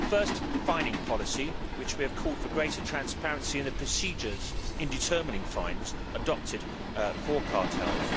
First, fining policy, where we have called for greater transparency in the procedures in determining fines adopted for cartels.